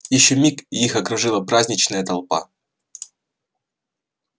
ещё миг и их окружила праздничная толпа